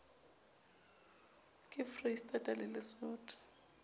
ka foreisetata le lesotho e